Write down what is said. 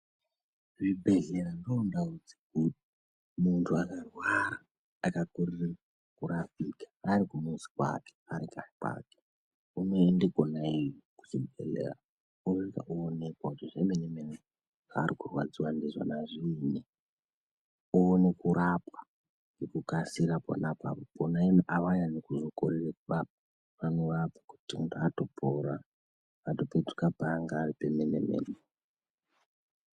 Zvibhedhlera ndoo ndawu dzikuru muntu akarwara akakorera kurapika arikumuzi kwake arikanyi kwake unoende kwona iyoyo kuchibhedhleya osvika onekwa zvemene mene zvakurwadziwa ndizvo zviinyi uone kurapwa ngekukasira kwona avanyanyi kuzokorera kurapa vanorapa kuti ngatopora atopetuka paanga ari pemene mene.